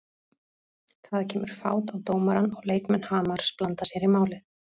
Það kemur fát á dómarann og leikmenn Hamars blanda sér í málið.